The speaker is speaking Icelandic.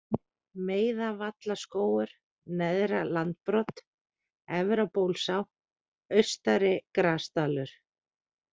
Meiðavallaskógur, Neðra-Landbrot, Efrabólsá, Austari-Grasdalur